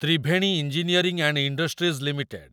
Triveni engineering and industries limited